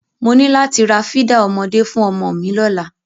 Mo ní láti ra fídà ọmọdé fún ọmọ mi lọ́la.